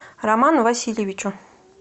роману васильевичу